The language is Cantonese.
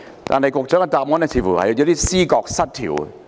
但是，局長的答覆似乎有點思覺失調。